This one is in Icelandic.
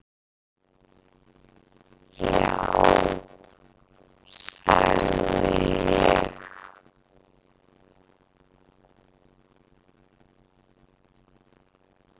"""Já, sagði ég."""